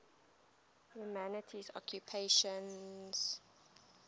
humanities occupations